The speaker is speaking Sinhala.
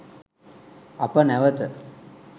අප නැවත